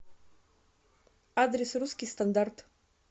адрес русский стандарт